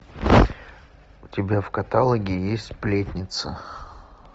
у тебя в каталоге есть сплетница